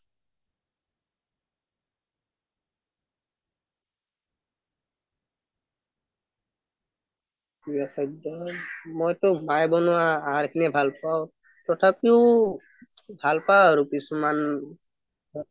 প্ৰিয় খাদ্য মইটো আঁহৰ খিনি এ ভাল পাওঁ তথাপিও ভাল পাওঁ আৰু কিছুমান